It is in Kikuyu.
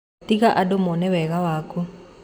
Tiga andũ mone wega waku.